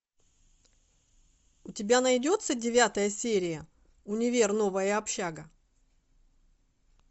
у тебя найдется девятая серия универ новая общага